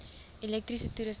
elektriese toerusting